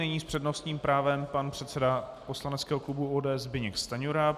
Nyní s přednostním právem pan předseda poslaneckého klubu ODS Zbyněk Stanjura.